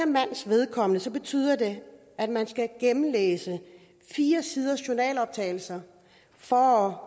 mands vedkommende betyder det at man skal gennemlæse fire sider med journaloptagelser for